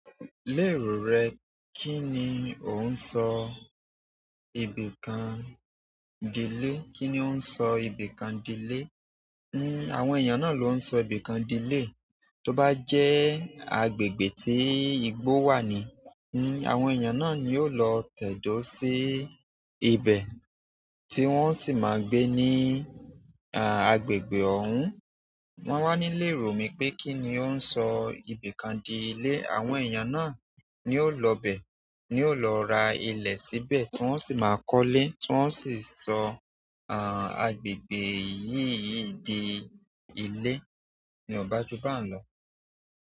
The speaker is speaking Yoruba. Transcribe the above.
Lérò rẹ, kí ni ó ń sọ ibìkan dile? Kí ni ó ń sọ ibìkan dile? Hmm, àwọn èèyàn náà ló ń sọ ibìkan dile. Tóbá jẹ́ agbègbè tí igbó wà ni, ni àwọn èèyàn náà ni yóò lọ tẹ̀dó sí ibẹ̀, tí wọ́n sì máa gbé ní, àh, agbègbè ọ̀hún. Wọ́n wà ní lé rò mí pé kí ni ó ń sọ ibìkan dile. Àwọn èèyàn náà ni ó lọ bẹ, ni ó lọ ra ilẹ̀ síbẹ̀ tí wọ́n sì máa kọ́lé, tí wọ́n sì sọ, àh, agbègbè yìí- yìí di ilé. Ni ò bá jù bá n lọ.